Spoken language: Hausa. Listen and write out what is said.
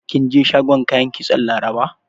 Kin je shagon kayan kitson Laraba?